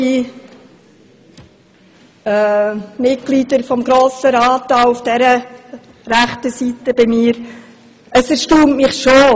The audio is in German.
Liebe Mitglieder des Grossen Rats, die von mir aus gesehen rechts sitzen Es erstaunt mich schon: